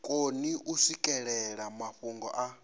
koni u swikelela mafhungo a